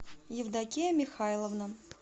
евдокия михайловна